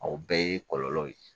O bɛɛ ye kɔlɔlɔw ye